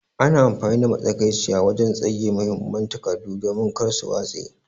Ana amfani da matsakaiciya wajen tsagewan muhimman takardu domin kar su watse.